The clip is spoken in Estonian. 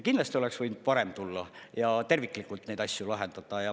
Kindlasti oleks võinud parem tulla ja terviklikult neid asju lahendada.